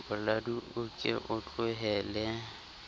boladu o ke o tlohele